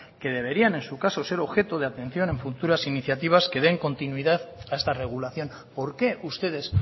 que deberían en su caso ser objetos de atención de futuras iniciativas que den continuidad a esta regulación porqué ustedes